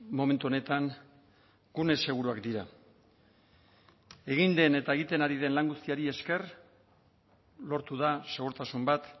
momentu honetan gune seguruak dira egin den eta egiten ari den lan guztiari esker lortu da segurtasun bat